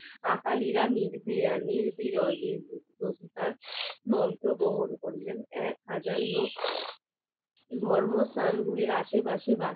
ধর্মস্থান গুলির আশেপাশে